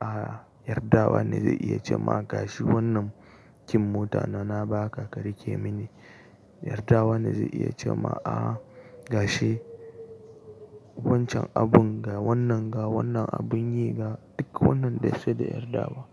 Aaa, yardawa ne zai iya ce ma, "Ga shi wannan key mota na, na ba ka, ka rike mini." Yardawa ne zai iya ce ma, "Aaa, ga shi wancan abun ga wannan ga wannan abun yi ga." Duk wannan dai sai da yardawa.